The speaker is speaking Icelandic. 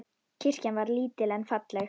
Kirkjan var lítil en falleg.